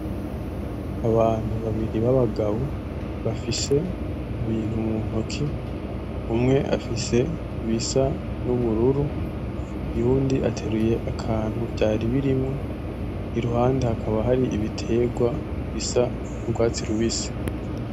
Abantu babibri babagabo bafise ibintu mu ntoki umwe afise ibisa nubururu uyundi ateruye akantu vyari birimwo iruhande haka hari ibitegwa bisa nugwatsi rubisi.